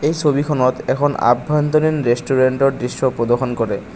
এই ছবিখনত এখন আভ্যন্তৰীণ ৰেষ্টুৰেন্টৰ দৃশ্য প্ৰদৰ্শন কৰে।